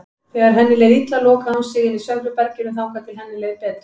Þegar henni leið illa lokaði hún sig inni í svefnherberginu þangað til henni leið betur.